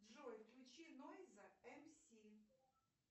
джой включи нойза мс